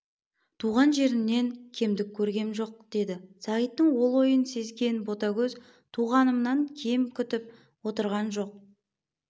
тұрған жерімнен кемдік көргем жоқ деді сағиттың ол ойын сезген ботагөз туғанымнан кем күтіп отырған жоқ